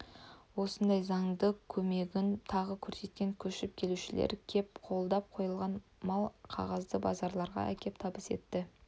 осындай заңды көмегін тағы көрсеткен көшіп келушілер көп қолдар қойылған мол қағазды базаралыға әкеп табыс етті